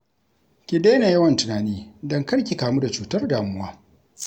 Ki daina yawan tunani don kar ki kamu da cutar damuwa